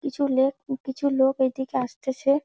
কিছু লেক উ কিছু লোক ওই দিকে আসতেছে।